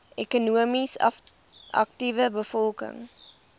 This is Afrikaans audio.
ekonomies aktiewe bevolking